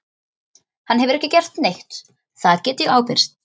Hann hefur ekki gert neitt, það get ég ábyrgst.